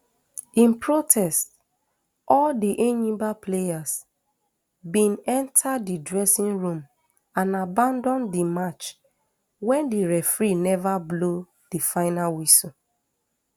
in protest all di enyimba players bin enta di dressing room and abandon di match wen di referee neva blow di final whistle